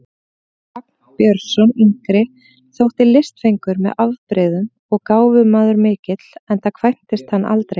Vagn Björnsson yngri þótti listfengur með afbrigðum og gáfumaður mikill, enda kvæntist hann aldrei.